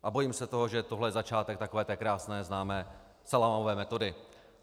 A bojím se toho, že tohle je začátek takové té krásné známé salámové metody.